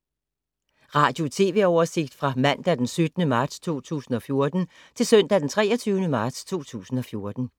Radio/TV oversigt fra mandag d. 17. marts 2014 til søndag d. 23. marts 2014